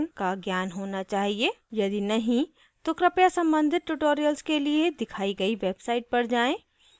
यदि नहीं तो कृपया संबंधित tutorials के लिए दिखाई गई website पर जाएँ